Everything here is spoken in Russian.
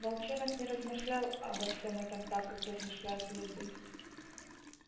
волчонок не размышлял обо всём этом так как размышляют люди